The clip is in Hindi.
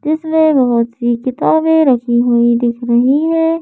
इसमें बहोत सी किताबें रखी हुई दिख रही हैं।